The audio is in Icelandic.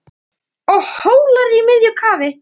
og Hólar í miðju kafi